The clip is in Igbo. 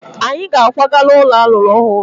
Anyị ga-akwaga n'ụlọ a lụrụ ọhụrụ.